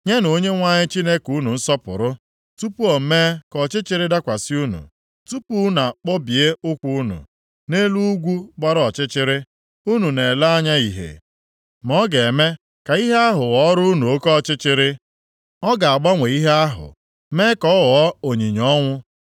Nyenụ Onyenwe anyị Chineke unu nsọpụrụ. Tupu o mee ka ọchịchịrị dakwasị unu; tupu unu akpọbie ụkwụ unu nʼelu ugwu gbara ọchịchịrị. Unu na-ele anya ìhè ma ọ ga-eme ka ihe ahụ ghọọrọ unu oke ọchịchịrị. Ọ ga-agbanwe ihe ahụ, mee ka ọ ghọọ onyinyo ọnwụ.